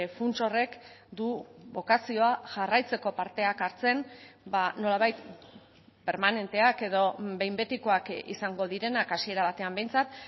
funts horrek du bokazioa jarraitzeko parteak hartzen nolabait permanenteak edo behin betikoak izango direnak hasiera batean behintzat